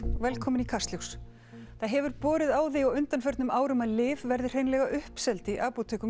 velkomin í Kastljós það hefur borið á því á undanförnum árum að lyf verði hreinlega uppseld í apótekum